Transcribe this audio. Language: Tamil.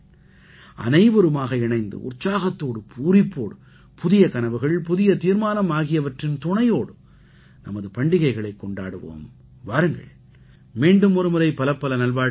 அனைவருமாக இணைந்து உற்சாகத்தோடு பூரிப்போடு புதிய கனவுகள் புதிய தீர்மானம் ஆகியவற்றின் துணையோடு நமது பண்டிகைகளைக் கொண்டாடுவோம் வாருங்கள் மீண்டும் ஒருமுறை பலப்பல நல்வாழ்த்துக்கள்